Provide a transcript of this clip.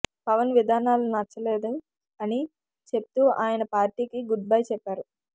పవన్ విధానాలు నచ్చలేదు అని చెప్తూ ఆయన పార్టీకి గుడ్ బై చెప్పారు